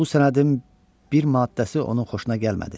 Bu sənədin bir maddəsi onun xoşuna gəlmədi.